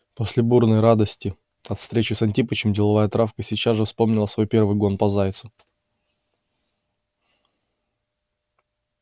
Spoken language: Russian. после бурной радости от встречи с антипычем деловая травка сейчас же вспомнила свой первый гон по зайцу